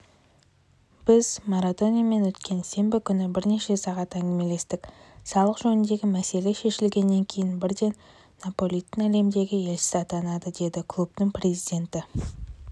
біз марадонамен өткен сенбі күні бірнеше сағат әңгімелестік салық жөніндегі мәселесі шешілгеннен кейін бірден наполидің әлемдегі елшісі атанады деді клубтың президенті